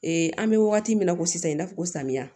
an bɛ wagati min na ko sisan i n'a fɔ samiya